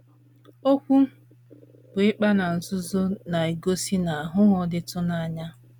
Okwu bụ́ ‘ ịkpa na nzuzo ’ na - egosi na aghụghọ dịtụ na ya.